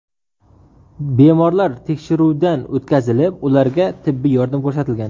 Bemorlar tekshiruvdan o‘tkazilib, ularga tibbiy yordam ko‘rsatilgan.